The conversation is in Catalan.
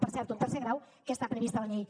per cert un tercer grau que està previst a la llei